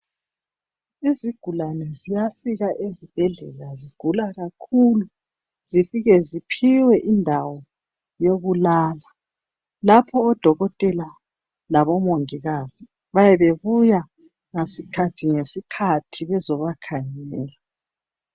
Izigulane ziyafika ezibhedlela zigula kakhulu zifike ziphiwe indawo yokulala lapho odokotela labomongikazi bayabe bebuya ngesikhathi ngesikhathi bezobakhangela